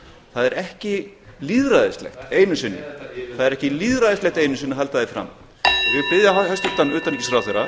það er ekki lýðræðislegt einu sinni að halda því fram og ég vil biðja hæstvirtan utanríkisráðherra